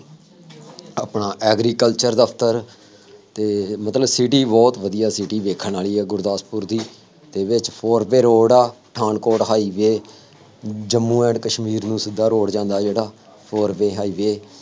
ਨਾਲ ਆਪਣਾ agriculture ਦਫਤਰ ਅਤੇ ਮਤਲਬ city ਬਹੁਤ ਵਧੀਆ city ਦੇਖਣ ਵਾਲੀ ਆ ਗੁਰਦਾਸਪੁਰ ਦੀ, ਇਹਦੇ ਚ four way road ਰੋਡ ਆ, ਪਠਾਨਕੋਟ ਹਾਈਵੇਅ, ਜੰਮੂ ਐਂਡ ਕਸ਼ਮੀਰ ਨੂੰ ਸਿੱਧਾ ਰੋਡ ਜਾਂਦਾ ਜਿਹੜਾ four way highway